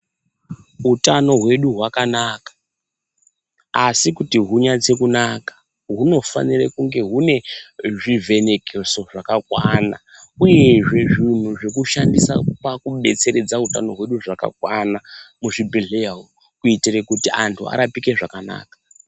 Utano hwedu hwakanaka, asi kuti hunyatse kunaka hunofanire kunge hune zvivhenekeso zvakakwana uyezve zvinhu zvekushandisa pakubetseredza utano hwedu zvakakwana muzvibhedhleya umu, kuitire kuti antu arapike zvakanaka.